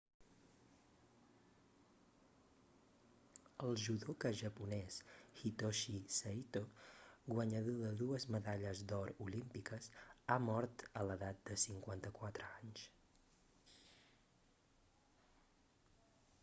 el judoka japonès hitoshi saito guanyador de dues medalles d'or olímpiques ha mort a l'edat de 54 anys